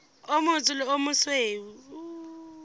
o motsho le o mosweu